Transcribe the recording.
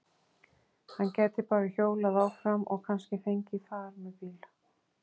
Hann gæti bara hjólað áfram og kannski fengið far með bíl.